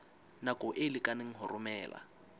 nako e lekaneng ho romela